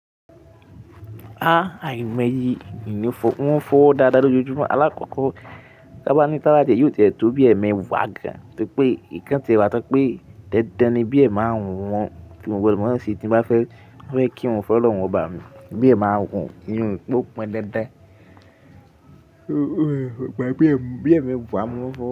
Ah, àìní ọmọ yìí ò ní fọ́, wọ́n ń fọ́ dáadáa lójoojúmọ́. Alákọ̀ọ́kọ́, báwo ni tálájé yóò tẹ̀tọ́ bí ẹ̀mí wà gà, torí pé ìkànnì ti wà tán pé dẹ́dẹ́ ni bí ẹ̀mí máa ń wọ́n. Kíni wọ́n máa ń ṣe tí wọ́n bá fẹ́ kí wọn fẹ́ lọ́hun ọba ni, bí ẹ̀mí máa ń wù nínú pọ́n dẹ́dẹ́. Ó gbàgbé ẹ̀mí wọ́n fọ́